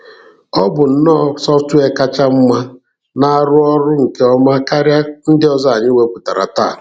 Ọ bụ nnọọ software kacha mma na-arụ ọrụ nke ọma karịa ndị ọzọ anyị wepụtara taa.